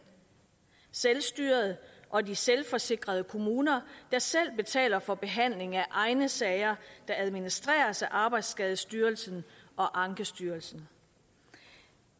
selvstyret og de selvforsikrede kommuner der selv betaler for behandling af egne sager der administreres af arbejdsskadestyrelsen og ankestyrelsen